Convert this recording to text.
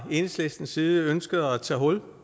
enhedslistens side ønsket at tage hul